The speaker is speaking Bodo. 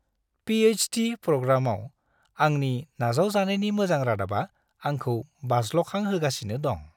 पि.एच.डि. प्रग्रामाव आंनि नाजावजानायनि मोजां रादाबा आंखौ बाज्ल'खांहोगासिनो दं।